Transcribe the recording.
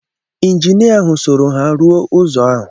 Injinia ahụ soro ha rụọ ụzọ ahụ.